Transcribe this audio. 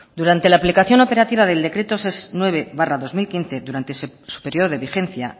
durante la aplicación operativa del decreto nueve barra dos mil quince durante el periodo de vigencia